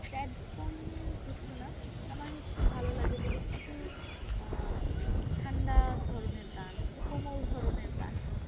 ‍sad song এর কিছু না আমার হচ্ছে ভালো লাগে যে একটু আহ ঠান্ডা ধরনের গান একটু কোমল ধরনের গান।